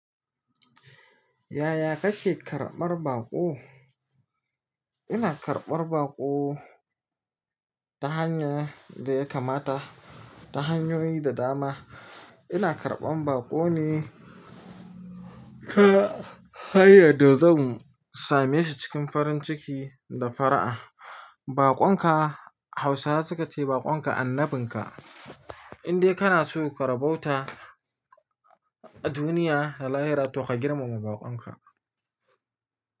Yaya kake karɓar baƙo? Ina karɓar baƙo ta hanyar da ya kamata, ta hanyoyi da dama. Ina karɓan baƙo ne ta hanyan da zan same shi cikin farin ciki da fara'a. Baƙon ka Hausawa suka ce baƙon ka annabin ka. In dai kana so ka rabauta duniya da lahira to ka girmama baƙon ka.